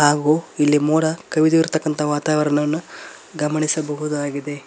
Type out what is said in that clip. ಹಾಗು ಇಲ್ಲಿ ಮೋಡ ಕವಿದಿರ್ತಕ್ಕಂತ ವಾತಾವರಣವನ್ನ ಗಮನಿಸಬಹುದಾಗಿದೆ.